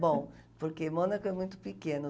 Bom, porque Mônaco é muito pequeno.